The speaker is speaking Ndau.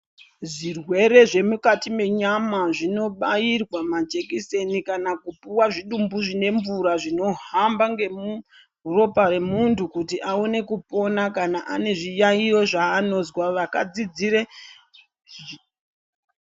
Zvirwere zvemukati menyama zvinobairwa majekiseni kana kupuwa zvidumbu zvine mvura zvinohamba ngemuropa remuhu kuti aone kupona, kana ane zviyaiyo zvaanozwa. Vakadzidzire...